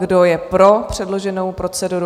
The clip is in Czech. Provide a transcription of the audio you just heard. Kdo je pro předloženou proceduru?